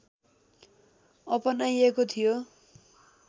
अपनाइएको थियो